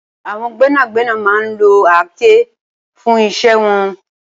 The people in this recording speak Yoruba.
Awọn gbẹnágbẹná má n ló àáké fùn iṣẹ̀ wọn